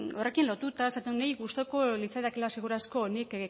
horrekin lotuta esaten du niri gustuko litzaidakeela seguru asko nik